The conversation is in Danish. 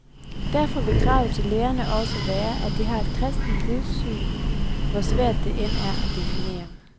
Derfor vil kravet til lærerne også være, at de har et kristent livssyn, hvor svært det end er at definere.